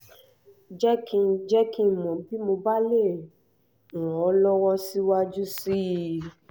jẹ́ kí n kí n mọ̀ bí mo bá lè ràn ọ́ lọ́wọ́ síwájú sí i